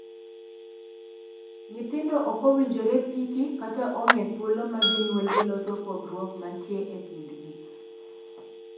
Nyithindo ok owinjore piki kata ong'ee thuolo ma jonyuolgi loso pogruok mantie e kindgi.